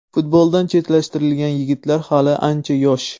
Futboldan chetlashtirilgan yigitlar hali ancha yosh.